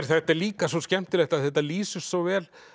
þetta er líka svo skemmtilegt af því þetta lýsir svo vel